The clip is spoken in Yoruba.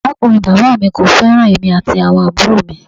Arakunrin baba mi ko feran emi ati awon aburo mi.